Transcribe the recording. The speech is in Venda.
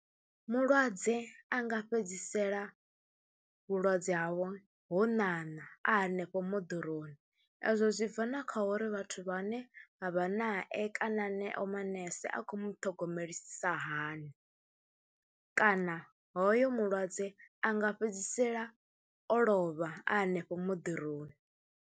Mulwadze a nga fhedzisela vhulwadze havho ho ṋaṋa a hanefho moḓoroni, ezwo zwi bva na kha uri vhathu vhane vha vha nae kana haneyo manese a khou mu ṱhogomelisa hani kana hoyo mulwadze a nga fhedzisela o lovha a hanefho moḓoroni.